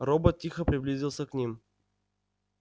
робот тихо приблизился к ним